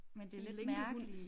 En lænkehund